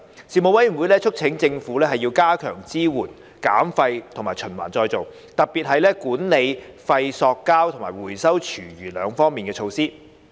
事務委員會促請政府加強支援減廢及循環再造，特別是管理廢塑膠及回收廚餘兩方面的措施。